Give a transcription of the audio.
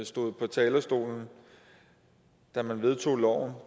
stod på talerstolen da man vedtog